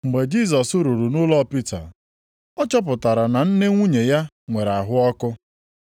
Mgbe Jisọs ruru nʼụlọ Pita, ọ chọpụtara na nne nwunye ya nwere ahụ ọkụ.